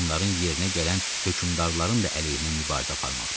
Onların yerinə gələn hökümdarların da əleyhinə mübarizə aparmaqdır.